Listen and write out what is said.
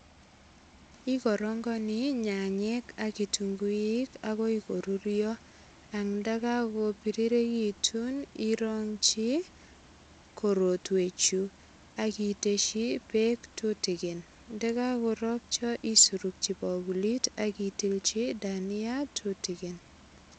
Ukorongoni nyanyek ak kitunguik agoi korurio angnda kakopiriregitu irongchi korotwechu ak itesyi beek tutigin. Ndakakorkcho isurokchi bakulit ak itilchi dania tutikin.